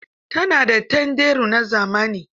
Ta na da tanderu na zamani.